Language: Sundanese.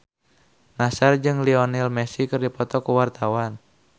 Nassar jeung Lionel Messi keur dipoto ku wartawan